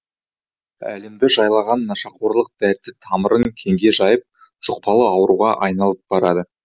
әлемді жайлаған нашақорлық дерті тамырын кеңге жайып жұқпалы ауруға айналып барады